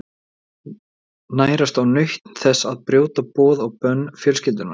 Nærast á nautn þess að brjóta boð og bönn fjölskyldunnar.